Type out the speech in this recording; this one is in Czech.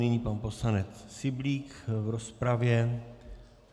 Nyní pan poslanec Syblík v rozpravě.